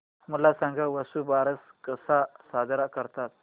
मला सांग वसुबारस कसा साजरा करतात